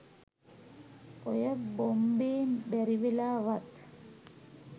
ඔය බොම්බේ බැරිවෙලා වත්